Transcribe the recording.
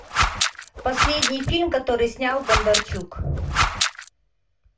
последний фильм который снял бондарчук